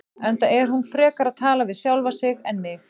Enda er hún frekar að tala við sjálfa sig en mig.